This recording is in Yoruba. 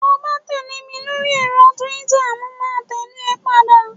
to ba tẹle mi lori ẹrọ twitter mo ma tẹle e padà